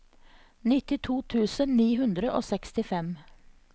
nittito tusen ni hundre og sekstifem